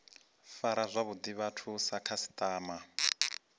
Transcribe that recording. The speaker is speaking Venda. fara zwavhuḓi vhathu sa khasiṱama